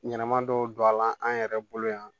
Ɲɛnɛma dɔw don a la an yɛrɛ bolo yan